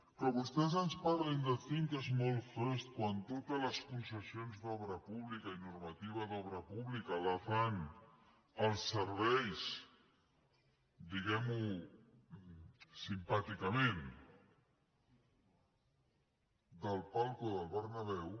que vostès ens parlin de think small first quan totes les concessions d’obra pública i normativa d’obra pública la fan al servei diguem ho simpàticament del palco del bernabéu